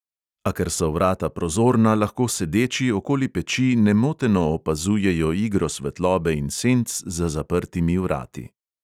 A ker so vrata prozorna, lahko sedeči okoli peči nemoteno opazujejo igro svetlobe in senc za zaprtimi vrati.